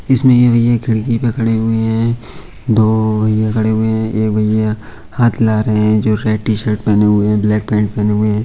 इसमें ये भैया खिड़की पे खड़े हुए हैं। दो भैया खड़े हुए हैं। एक भैया हाथ हिला रहें हैं जो रेड टी-शर्ट पहने हुए हैं ब्लैक पैंट पहने हुए हैं।